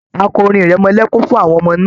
A kọ orin ìrẹmọlẹ́kún fún àwọn ọmọ náà.